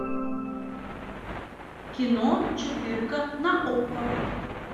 кино четырка на окко